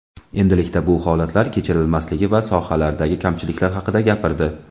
endilikda bu holatlar kechirilmasligi va sohalardagi kamchiliklar haqida gapirdi.